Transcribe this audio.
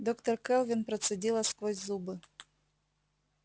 доктор кэлвин процедила сквозь зубы